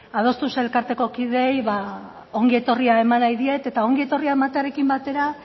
adostuz elkarteko kideei ba ongi etorria eman nahi diet eta ongi etorria ematearekin batera